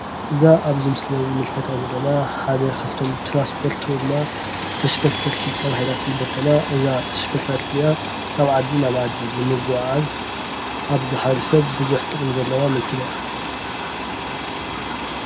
እዛ ኣብዚ ምስሊ ንምልከታ ዘለና ሓደ ካብቶም ትራንስፖት ወይ ድማ ተሽከርከርቲ ተባሂላ ትምደብ ኮይና እዛ ተሽከርካሪት እዚኣ ካብ ዓዲ ናብ ዓዲ ንምጉዕዓዝ ኣብ ማሕበረሰብ ብዙሕ ጠቕሚ ዘለዋ መኪና እያ።